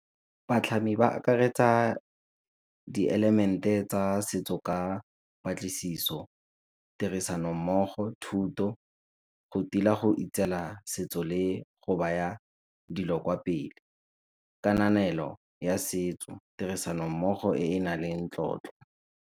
Batlhami ba akaretsa dielemente tsa setso ka patlisiso, tirisanommogo, thuto, go tila go setso le go baya dilo kwa pele, kananelo ya setso, tirisanommogo e e na leng tlotlo.